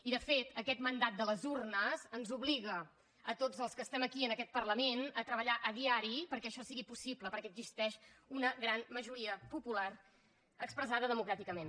i de fet aquest mandat de les urnes ens obliga a tots els que estem aquí en aquest parlament a treballar a diari perquè això sigui possible perquè existeix una gran majoria popular expressada democràticament